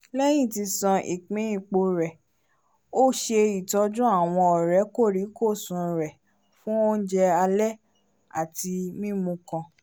lẹyìn ti sàn ìpín ipo rẹ o se itọjú awọn ọrẹ korikosun rẹ fún oúnjẹ alẹ́ ati mímù kàn